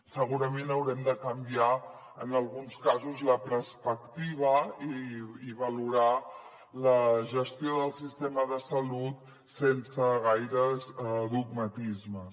segurament haurem de canviar en alguns casos la perspectiva i valorar la gestió del sistema de salut sense gaires dogmatismes